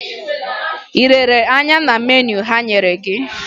Ị lere anya na meniu ha nyere gị?